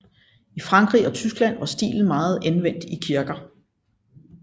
I Frankrig og Tyskland var stilen meget anvendt i kirker